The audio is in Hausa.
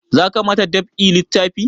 Za ka ma ta dab'i littafi?